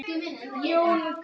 Leifur, Helga og Hanna.